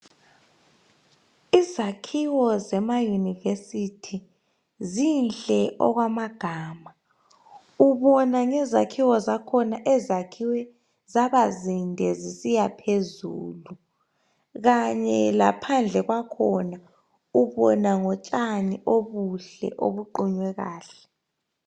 Izakhiwo zemayunivesiti zinhle okwamagama. Ubona ngezakhiwo zakhona ezakhiwe zaba zinde zisiya phezulu kanye laphandle kwakhona ubona ngotshani obuhle obuqunywe kahle.